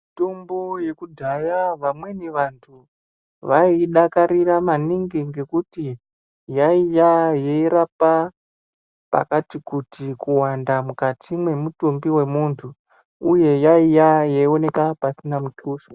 Mitombo yekudhaya vamweni vantu vaiidakarira maningi ngekuti yaiya yeirapa pakati kuti kuwanda mukati memutumbi vemuntu, uye yaiya yeioneka pasina mutuso.